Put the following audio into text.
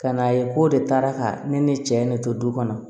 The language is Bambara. Ka n'a ye k'o de taara ka ne ne cɛ ne to du kɔnɔ